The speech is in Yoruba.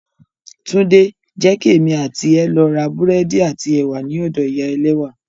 Tunde! Jẹ́ kí èmi àti ẹ lọ ra búrẹ́dì àti ẹ̀wà ní ọ̀dọ ìyá ẹlẹ́wà